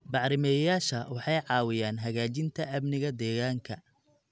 Bacrimiyeyaasha waxay caawiyaan hagaajinta amniga deegaanka.